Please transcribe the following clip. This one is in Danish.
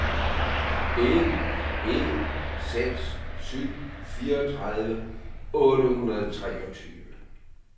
en en seks syv fireogtredive otte hundrede og treogtyve